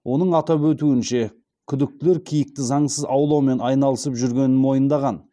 оның атап өтуінше күдіктілер киікті заңсыз аулаумен айналысып жүргенін мойындаған